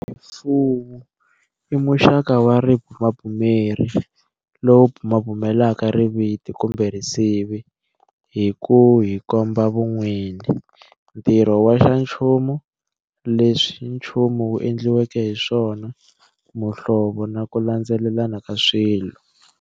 Rifuwi i muxaka wa ribumabumeri lowu bumabumelaka riviti kumbe risivi hi ku hi komba vun'wini, ntirho wa xanchumu, leswi nchumu wu endliweke hi swona, muhlovo na ku landzelelana ka swilo.